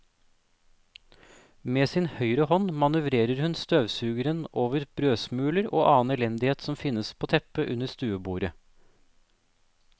Med sin høyre hånd manøvrerer hun støvsugeren over brødsmuler og annen elendighet som finnes på teppet under stuebordet.